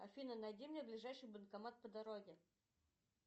афина найди мне ближайший банкомат по дороге